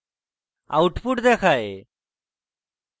output দেখায়